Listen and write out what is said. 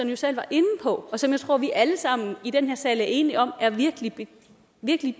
jo selv var inde på og som jeg tror vi alle sammen i den her sal er enige om er virkelig virkelig